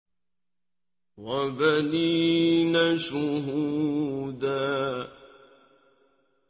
وَبَنِينَ شُهُودًا